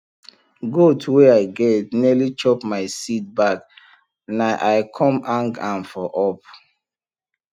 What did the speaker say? goat wey i get nearly chop my seed bag na i com hang ahm for up